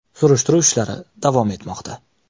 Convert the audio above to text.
Surishtiruv ishlari davom etmoqda.